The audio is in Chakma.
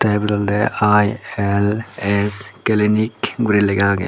tey ibet olodey I_L_S clinic guri lega agey.